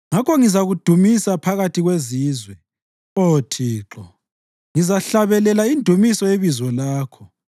Ngakho ngizakudumisa phakathi kwezizwe, Oh Thixo; ngizahlabelela indumiso yebizo lakho.